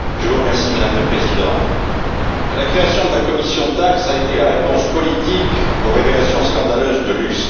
Madame le Président, la création de la commission TAXE a été la réponse politique aux révélations scandaleuses de LuxLeaks.